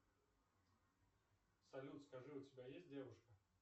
салют скажи у тебя есть девушка